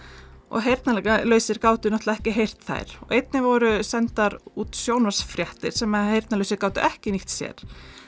og heyrnarlausir gátu náttúrulega ekki heyrt þær einnig voru sendar út sjónvarpsfréttir sem heyrnarlausir gátu ekki nýtt sér